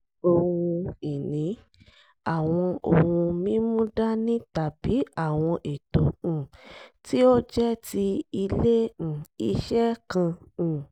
ohun ìní: àwọn ohun mímúdání tàbí àwọn ètò um tí ó jẹ́ ti ilé um iṣẹ́ kan um